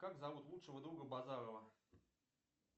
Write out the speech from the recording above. как зовут лучшего друга базарова